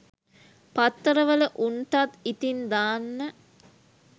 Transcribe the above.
පත්තර වල උන්ටත් ඉතින් දාන්න